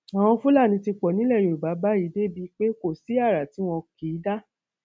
àwọn fúlàní ti pọ nílẹ yorùbá báyìí débìí pé kò sí ara tí wọn kì í dá